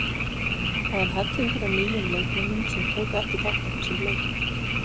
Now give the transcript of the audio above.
Það er hellingur af nýjum leikmönnum sem tóku ekki þátt í þessum leikjum.